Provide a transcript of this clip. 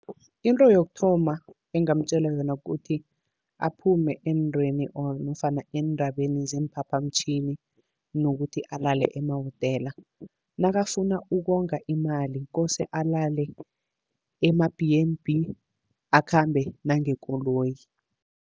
Into yokuthoma engingamtjela yona, kuthi aphume eentweni or nofana eendabeni zeemphaphamtjhini, nokuthi alale emahotela. Nakafuna ukonga imali, kose alale ema-B_N_B, akhambe nangekoloyi.